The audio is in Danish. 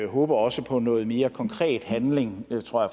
håber også på noget mere konkret handling